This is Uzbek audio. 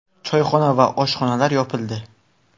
Choyxona va oshxonalar yopildi.